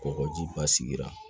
Kɔgɔji ba sigira